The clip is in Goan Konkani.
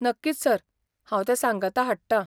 नक्कीच सर! हांव तें सांगाता हाडटा.